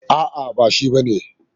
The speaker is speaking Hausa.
A'a ba shi bane.